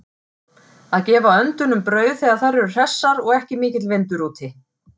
Að gefa öndunum brauð þegar þær eru hressar og ekki mikill vindur úti.